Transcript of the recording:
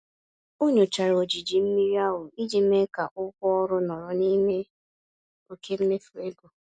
Ọ nyochara ojiji mmiri ahụ iji mee ka ụgwọ ọrụ nọrọ n'ime oke mmefu ego.